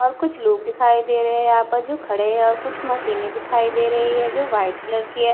और कुछ लोग दिखाई दे रहे हैं यहां पर जो खड़े हैं और कुछ मशीने दिखाई दे रही हैं जो व्हाइट कलर की हैं।